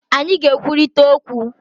Anyị ga-ekwurịta okwu